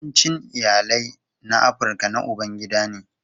Yawancin iyalai na Afirka na ubangida ne.